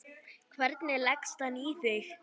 Hvernig leggst hann í þig?